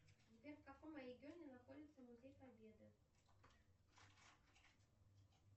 сбер в каком регионе находится музей победы